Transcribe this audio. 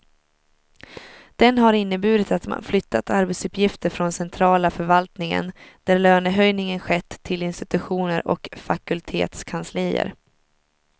Den har inneburit att man flyttat arbetsuppgifter från centrala förvaltningen, där lönehöjningen skett, till institutioner och fakultetskanslier.